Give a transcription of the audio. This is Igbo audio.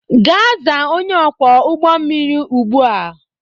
Gaa zaa onye ọkwọ ụgbọ mmiri ugbu a!